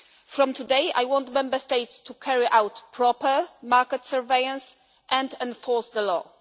From today, I want Member States to carry out proper market surveillance and enforce the law.